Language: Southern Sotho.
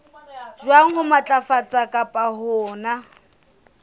jwang ho matlafatsa kapa hona